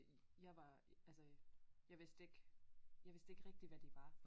Jeg var altså jeg vidste ikke jeg vidste ikke rigtig hvad de var